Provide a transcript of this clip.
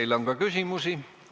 Teile on ka küsimusi.